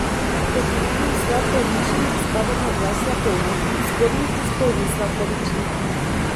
Pod imenom Slap Peričnik spadata dva slapova, zgornji in spodnji Slap Peričnik.